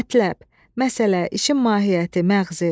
Mətləb, məsələ, işin mahiyyəti, məğzi.